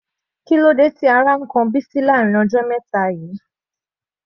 Kílódé tí ó rẹ Bisi ní àwọn ọjọ́ wọ̀nyí?